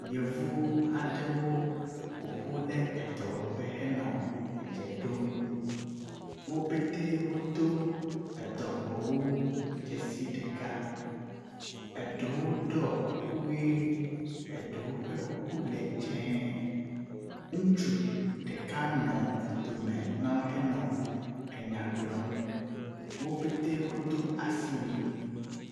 Yevu aɖewo ƒoƒu le edɔwɔƒe henɔ edze ɖom. Wo pete wodo edɔwɔwu dzesi ɖeka, eɖewo ɖɔ kuku ʋe eɖewo ƒe kuku le dze. Ŋutsu ɖeka nɔ dome na wo henɔ enya gblɔm. Wo petee wodo asiwui.